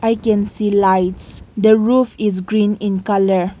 i can see lights the roof is green in colour.